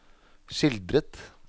skildret